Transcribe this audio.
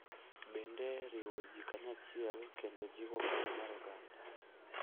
bende riwo ji kanyachiel kendo jiwo paro mar oganda